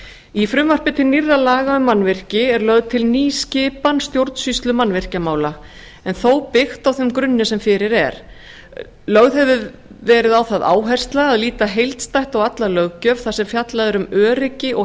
í frumvarpi til nýrra laga um mannvirki eru lögð til ný skipan stjórnsýslumannvirkjamála en þó byggt á þeim grunni sem fyrir er lögð hefur verið á það áhersla að líta heildstætt á alla löggjöf þar sem fjallað er um öryggi og